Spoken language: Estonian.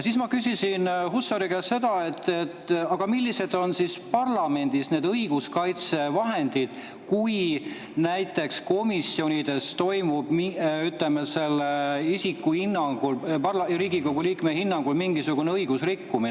Ma küsisin Hussari käest seda, millised on siis parlamendis õiguskaitsevahendid, kui näiteks komisjonides toimub, ütleme, mõne isiku hinnangul, Riigikogu liikme hinnangul mingisugune õiguserikkumine.